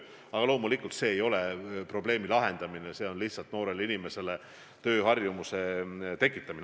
Aga loomulikult see ei lahenda probleemi, see on lihtsalt noorele inimesele tööharjumuse tekitamine.